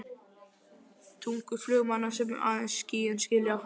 tungu flugmanna sem aðeins skýin skilja.